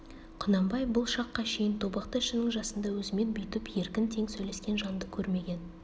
құнанбай бұл шаққа шейін тобықты ішінің жасында өзімен бүйтіп еркін тең сөйлескен жанды көрмеген